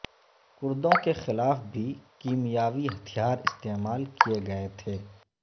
کردوں کے خلاف بھی کیمیاوی ہتھیار استعمال کئے گئے تھے